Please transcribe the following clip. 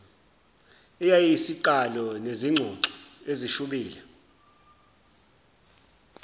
eyayiyisiqalo sezingxoxo ezishubile